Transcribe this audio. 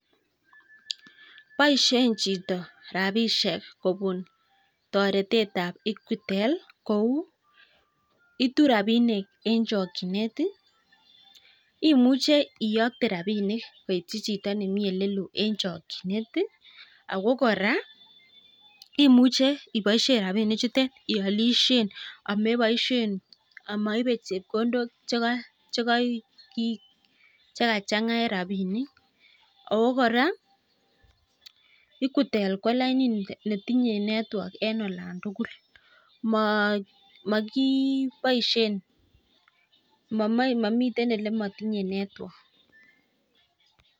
Boishen chito rabishek kobun toretet ab Equitel kou: Itu rabinik en chokinet, imuche iyokte rabinik koityi chito nemi ole loo en chokinet ii ago kora imuche iboiisien rabinik chutet iolisien ameboishen, amoibe chepkondok che kachang'a en rabinik ago kora Equitel ko lainit ne tinye network en olon tugul mokiboishen momiten ele motinye network.